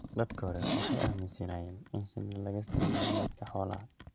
Dadkii hore waxay aaminsanaayeen in shinida laga sameeyay meydka xoolaha.